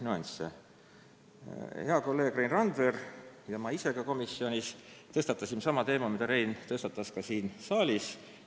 Koos hea kolleegi Rein Randveriga ma tõstatasin komisjonis sama teema, mille Rein tõstatas täna siin saalis.